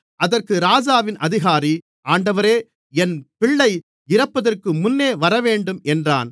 அதற்கு ராஜாவின் அதிகாரி ஆண்டவரே என் பிள்ளை இறப்பதற்குமுன்னே வரவேண்டும் என்றான்